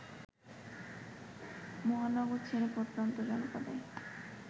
মহানগর ছেড়ে প্রত্যন্ত জনপদে